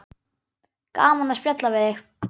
Gaman að spjalla við þig.